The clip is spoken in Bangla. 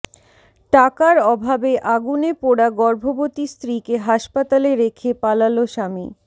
টাকার অভাবে আগুনে পোড়া গর্ভবতী স্ত্রীকে হাসপাতালে রেখে পালাল স্বামী